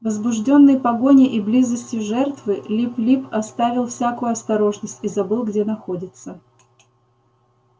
возбуждённый погоней и близостью жертвы лип лип оставил всякую осторожность и забыл где находится